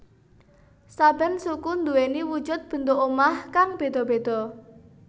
Saben suku nduweni wujud bentuk omah kang beda beda